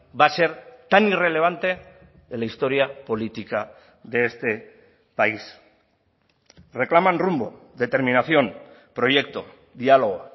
va a ser tan irrelevante en la historia política de este país reclaman rumbo determinación proyecto diálogo